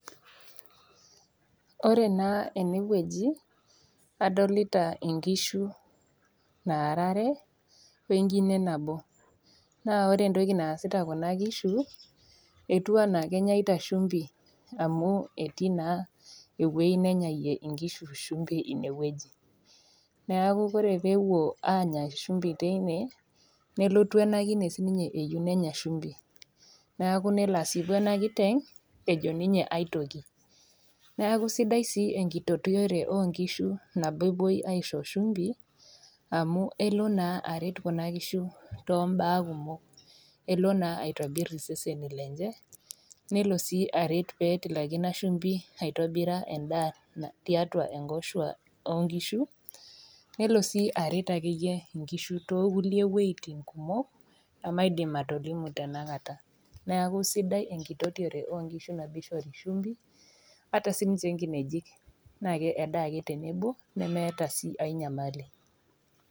Ore naa ene wueji adolita inkishu naara are, we enkine nabo, naa ore entoki naasita Kuna kiishu, etiu anaa kenyaita shumbi amu etii naa ewueji nanyayie inkishu shumbi ine wueji, neaku ore pee epuo aanya shumbi teine, nelotu ena kine siininye ayou nenya shumbi, neaku nelo aasipu ena kiteng' ejo ninye aitoki . Neaku sidai sii enkitotore oo nkishu nabo ewuoi aisho shumbi amu ewuo naa aret Kuna kishu too imbaa kumok, kelo sii aitobir iseseni lenye, pee etilaki Ina shumbi aitobira endaa tiatua inkoshua oo nkishu, nelo sii aret inkishu ake iyie too kulie wuetin kumok, nemaidim atolimu tena kata. Neaku sidai enkitotiore oo nkishu teneishori shumbi ata siininye inkinejik naa kedaa ake tenebo, nemeata ai nyamali.